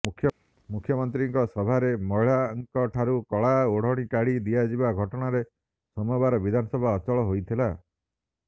ମୁଖ୍ୟମନ୍ତ୍ରୀଙ୍କ ସଭାରେ ମହିଳାଙ୍କଠାରୁ କଳା ଓଢ଼ଣି କାଢ଼ି ଦିଆଯିବା ଘଟଣାରେ ସୋମବାର ବିଧାନସଭା ଅଚଳ ହୋଇଥିଲା